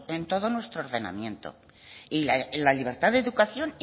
en todo nuestro ordenamiento y la libertad de educación